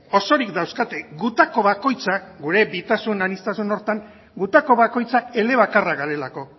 osorik dauzkate gutako bakoitzak gure bitasun aniztasun horretan gutako bakoitzak elebakarrak garelako